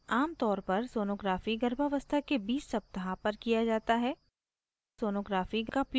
आमतौर पर sonography गर्भावस्था के 20 सप्ताह पर किया जाता है